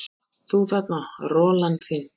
Þú þarna, rolan þín.